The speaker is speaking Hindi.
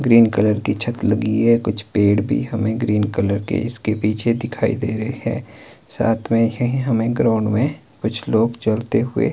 ग्रीन कलर की छत लगी है कुछ पेड़ भी हमें ग्रीन कलर के इसके पीछे दिखाई दे रहे हैं साथ में यही हमें ग्राउंड में कुछ लोग चलते हुए--